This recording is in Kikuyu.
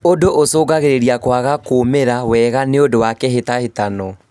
ũndũ ũcũngagĩrĩria kwaga kumĩra wega nĩũndũ wa kĩhĩtahĩtano